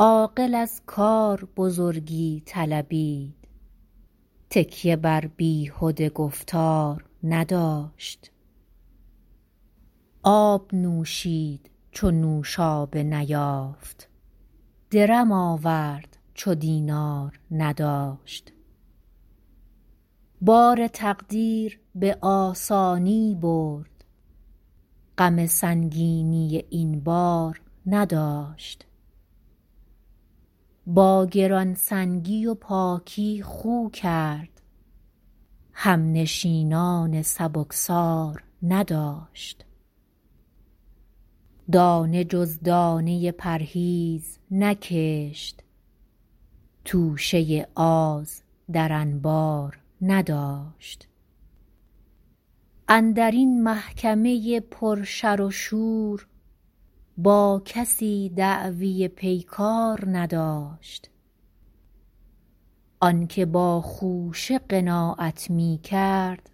عاقل از کار بزرگی طلبید تکیه بر بیهده گفتار نداشت آب نوشید چو نوشابه نیافت درم آورد چو دینار نداشت بار تقدیر به آسانی برد غم سنگینی این بار نداشت با گرانسنگی و پاکی خو کرد همنشینان سبکسار نداشت دانه جز دانه پرهیز نکشت توشه آز در انبار نداشت اندرین محکمه پر شر و شور با کسی دعوی پیکار نداشت آنکه با خوشه قناعت می کرد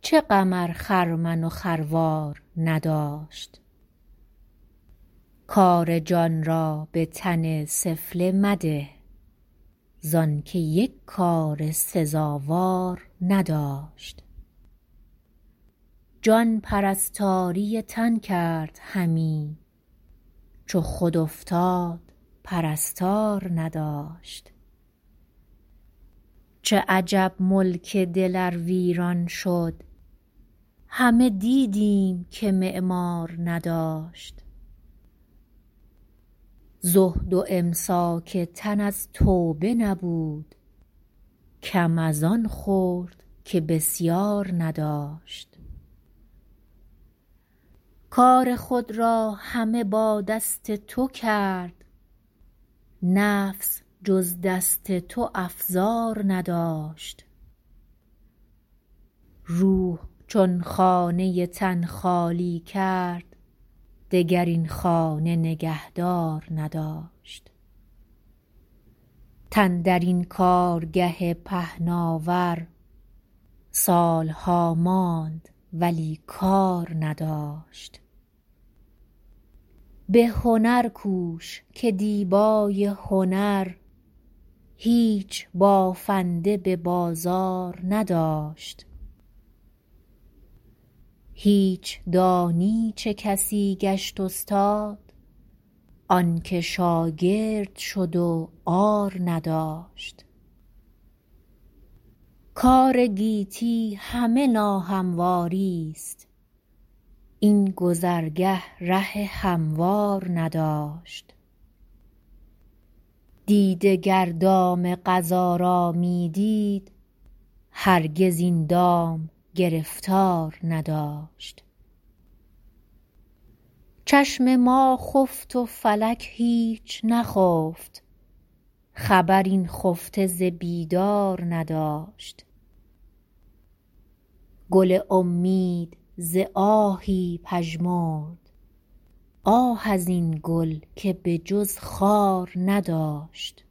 چه غم ار خرمن و خروار نداشت کار جان را به تن سفله مده زانکه یک کار سزاوار نداشت جان پرستاری تن کرد همی چو خود افتاد پرستار نداشت چه عجب ملک دل ار ویران شد همه دیدیم که معمار نداشت زهد و امساک تن از توبه نبود کم از آن خورد که بسیار نداشت کار خود را همه با دست تو کرد نفس جز دست تو افزار نداشت روح چون خانه تن خالی کرد دگر این خانه نگهدار نداشت تن در این کارگه پهناور سالها ماند ولی کار نداشت به هنر کوش که دیبای هنر هیچ بافنده به بازار نداشت هیچ دانی چه کسی گشت استاد آنکه شاگرد شد و عار نداشت کار گیتی همه ناهمواریست این گذرگه ره هموار نداشت دیده گر دام قضا را می دید هرگز این دام گرفتار نداشت چشم ما خفت و فلک هیچ نخفت خبر این خفته ز بیدار نداشت گل امید ز آهی پژمرد آه از این گل که به جز خار نداشت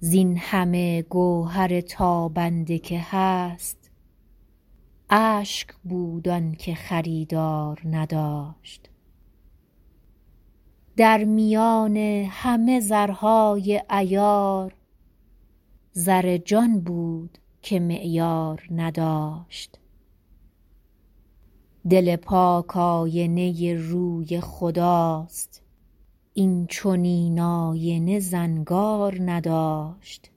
زینهمه گوهر تابنده که هست اشک بود آنکه خریدار نداشت در میان همه زرهای عیار زر جان بود که معیار نداشت دل پاک آینه روی خداست این چنین آینه زنگار نداشت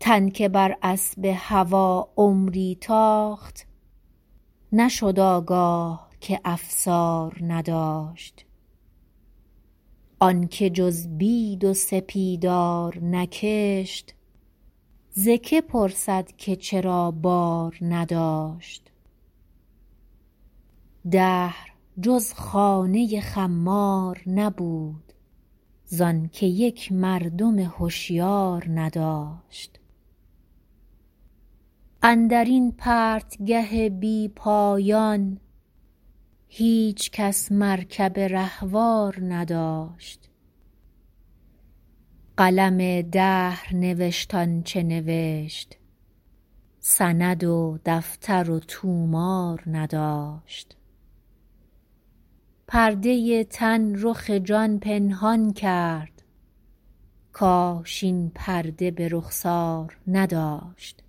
تن که بر اسب هوی عمری تاخت نشد آگاه که افسار نداشت آنکه جز بید و سپیدار نکشت ز که پرسد که چرا بار نداشت دهر جز خانه خمار نبود زانکه یک مردم هشیار نداشت اندرین پرتگه بی پایان هیچکس مرکب رهوار نداشت قلم دهر نوشت آنچه نوشت سند و دفتر و طومار نداشت پرده تن رخ جان پنهان کرد کاش این پرده به رخسار نداشت